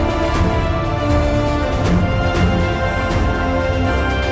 Biz buna nəzarət etməsək, onun köləsinə çevriləcəyik.